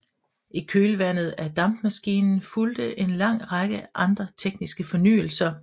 I kølvandet af dampmaskinen fulgte en lang række andre tekniske fornyelser